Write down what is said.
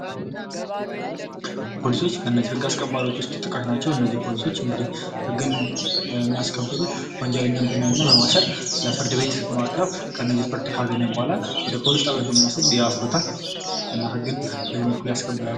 ፖሊሶች ከህግ አስከባሪዎች ውስጥ ተጠቃሽ ናቸው ፖሊሶች እንግዲህ ህግን የሚያስከብሩ ወንጀለኛን በማሰር ለፍርድቤት በማቅረብ ፍትህ ካገኙ በኋላ ወደ ፖሊስ ጣቢያ ወስዶ ያስሩታል እና ህግን በዚህ መልኩ ያስከብራሉ።